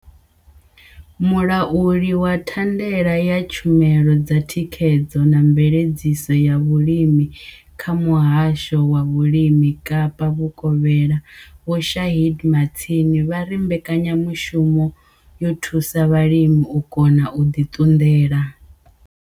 Mulauli wa thandela ya tshumelo dza thikhedzo na mveledziso ya vhulimi kha Muhasho wa vhulimi Kapa Vhukovhela Vho Shaheed Martin vha ri mbekanyamushumo yo thusa vhalimi u kona u ḓi ṱunḓela.